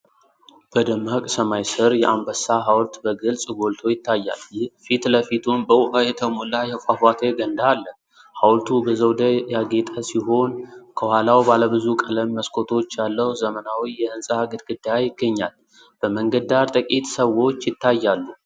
በደማቅ ሰማይ ስር የአንበሳ ሐውልት በግልጽ ጎልቶ ይታያል፤ ፊት ለፊቱም በውሃ የተሞላ የፏፏቴ ገንዳ አለ። ሐውልቱ በዘውድ ያጌጠ ሲሆን፤ ከኋላው ባለ ብዙ ቀለም መስኮቶች ያለው ዘመናዊ የሕንፃ ግድግዳ ይገኛል። በመንገድ ዳር ጥቂት ሰዎች ይታያሉ።